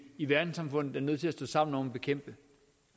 i verdenssamfundet er nødt til at stå sammen om at bekæmpe